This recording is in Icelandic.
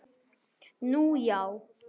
Nú, já.